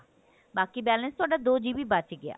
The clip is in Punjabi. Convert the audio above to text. ਬਾਕੀ balance ਤੁਹਾਡਾ ਦੋ GB ਬਚ ਗਿਆ